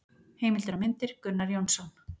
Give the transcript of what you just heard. Heimildir og myndir: Gunnar Jónsson.